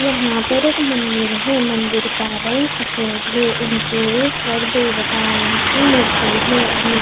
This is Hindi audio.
यहां पर एक मंदिर है मंदिर का रंग सफेद है उनके ऊपर देवताओं की मूर्ति है और नि--